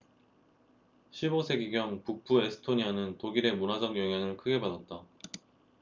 15세기경 북부 에스토니아는 독일의 문화적 영향을 크게 받았다